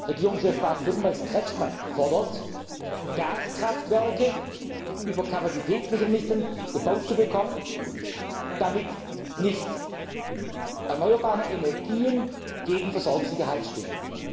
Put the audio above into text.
Regierungschef Baden Württembergs, Kretschmann, fordert, Gaskraftwerke über Kapazitätsmechanismen gebaut zu bekommen, damit nicht erneuerbare Energien gegen Versorgungssicherheit stehen.